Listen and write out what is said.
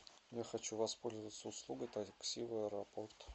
я хочу воспользоваться услугой такси в аэропорт